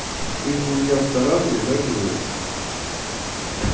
ты же у меня в саратове да живёшь